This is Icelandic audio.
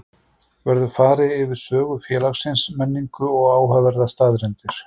Verður farið yfir sögu félagsins, menningu og áhugaverðar staðreyndir.